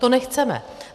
To nechceme.